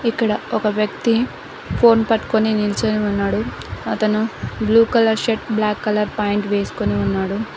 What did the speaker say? ఇక్కడ ఒక వ్యక్తి ఫోన్ పట్టుకొని నిల్చొని ఉన్నాడు అతను blue colour shirt black colour pant వేసుకొని ఉన్నాడు.